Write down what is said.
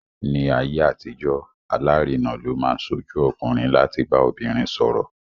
Ní ayé àtijọ́, alárinà ló máa ń ṣojú ọkùnrin láti bá obìnrin sọ̀rọ̀.